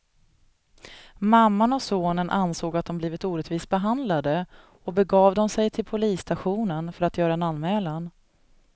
Mamman och sonen ansåg att de blivit orättvist behandlade och begav de sig till polisstationen för att göra en anmälan.